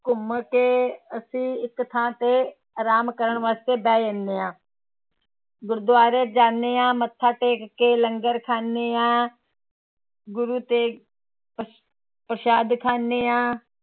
ਘੁੰਮ ਕੇ ਅਸੀਂ ਇੱਕ ਥਾਂ ਤੇ ਆਰਾਮ ਕਰਨ ਵਾਸਤੇ ਬਹਿ ਜਾਂਦੇ ਹਾਂ ਗੁਰਦੁਆਰੇ ਜਾਂਦੇ ਹਾਂ ਮੱਥਾ ਟੇਕ ਕੇ ਲੰਗਰ ਖਾਂਦੇ ਹਾਂ ਗੁਰੂ ਤੇਗ ਪ੍ਰਸ਼ਾਦ ਖਾਂਦੇ ਹਾਂ